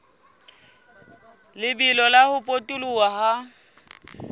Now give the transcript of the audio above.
lebelo la ho potoloha ha